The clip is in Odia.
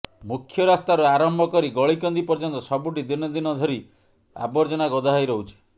ମୁଖ୍ୟ ରାସ୍ତାରୁ ଆରମ୍ଭ କରି ଗଳିକନ୍ଦି ପର୍ଯ୍ୟନ୍ତ ସବୁଠି ଦିନ ଦିନ ଧରି ଆବର୍ଜନା ଗଦା ହୋଇ ରହୁଛି